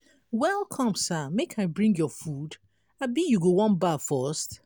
welcome sir make i bring your food abi you wan baff first?